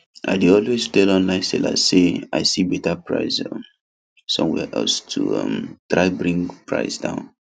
i dey always tell online sellers say i see better price um somewhere else to um try bring price down